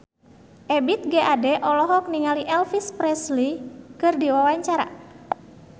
Ebith G. Ade olohok ningali Elvis Presley keur diwawancara